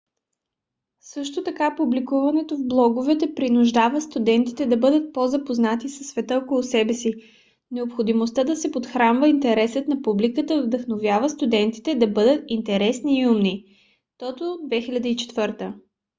също така публикуването в блогове принуждава студентите да бъдат по-запознати със света около себе си . необходимостта да се подхранва интересът на публиката вдъхновява студентите да бъдат интересни и умни toto 2004